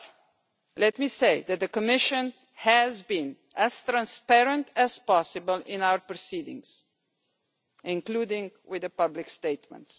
But let me say that the Commission has been as transparent as possible in its proceedings, including with public statements.